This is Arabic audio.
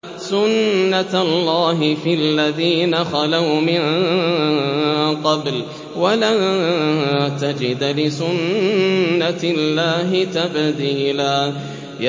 سُنَّةَ اللَّهِ فِي الَّذِينَ خَلَوْا مِن قَبْلُ ۖ وَلَن تَجِدَ لِسُنَّةِ اللَّهِ تَبْدِيلًا